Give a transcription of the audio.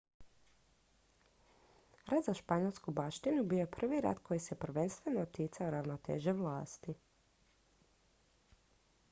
rat za španjolsku baštinu bio je prvi rat koji se prvenstveno ticao ravnoteže vlasti